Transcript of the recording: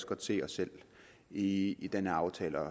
godt se os selv i den her aftale